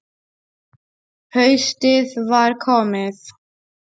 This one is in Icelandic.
Haustið var komið.